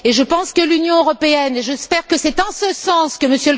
Je pense que l'Union européenne et j'espère que c'est en ce sens que M.